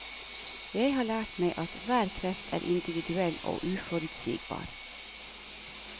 Jeg har lært meg at hver kreft er individuell og uforutsigbar.